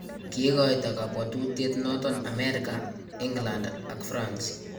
Kikoito kabwatutiet noton Amerika, England ak France